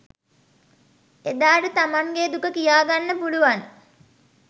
එදාට තමන්ගේ දුක කියාගන්න පුළුවන්